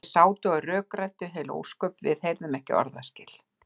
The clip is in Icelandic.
Þeir sátu og rökræddu einhver heil ósköp, við heyrðum ekki orðaskil.